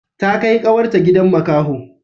Ta kai kawar ta gidan makaho